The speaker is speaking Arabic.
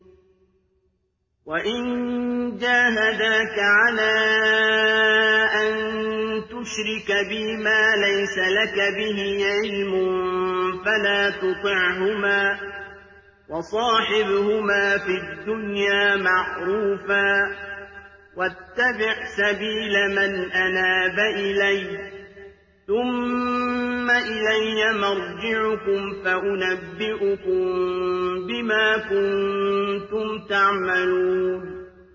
وَإِن جَاهَدَاكَ عَلَىٰ أَن تُشْرِكَ بِي مَا لَيْسَ لَكَ بِهِ عِلْمٌ فَلَا تُطِعْهُمَا ۖ وَصَاحِبْهُمَا فِي الدُّنْيَا مَعْرُوفًا ۖ وَاتَّبِعْ سَبِيلَ مَنْ أَنَابَ إِلَيَّ ۚ ثُمَّ إِلَيَّ مَرْجِعُكُمْ فَأُنَبِّئُكُم بِمَا كُنتُمْ تَعْمَلُونَ